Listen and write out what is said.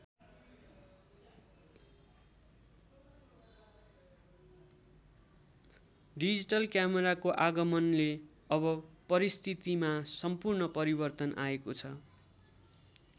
Digital क्यामेराको आगमनले अब परिस्थितिमा सम्पूर्ण परिवर्तन आएको छ।